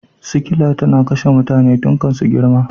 Sikila tana kashe mutane tun kan su girma.